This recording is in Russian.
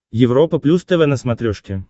европа плюс тв на смотрешке